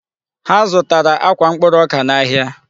Ha zụtara akwa mkpụrụ ọka n'ahịa.